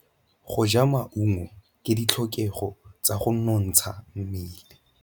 Go ja maungo ke ditlhokegô tsa go nontsha mmele.